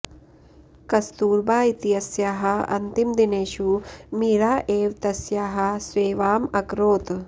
कस्तूरबा इत्यस्याः अन्तिमदिनेषु मीरा एव तस्याः सेवाम् अकरोत्